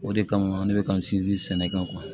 O de kama ne bɛ ka n sinsin sɛnɛ kan